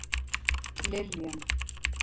Liljan